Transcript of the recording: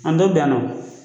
A dɔ bɛ yan nɔ